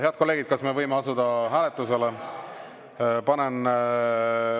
Head kolleegid, kas me võime asuda hääletuse juurde?